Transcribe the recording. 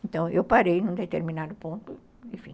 Então, eu parei num determinado ponto, enfim.